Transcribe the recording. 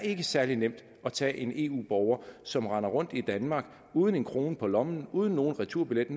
særlig nemt at tage en eu borger som render rundt i danmark uden en krone på lommen uden nogen returbillet